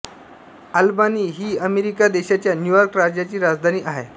Albany ही America देशाच्या New York राज्याची राजधानी आहे